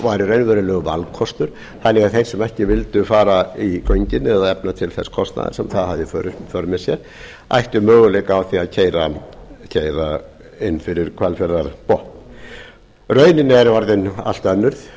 væri raunverulegur valkostur þannig að þeir sem ekki vildu fara í göngin eða efna til þess kostnaðar sem það hafði í för með sér ættu möguleika á því að keyra inn fyrir hvalfjarðarbotn raunin er orðin allt önnur